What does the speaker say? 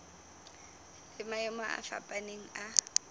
le maemo a fapaneng a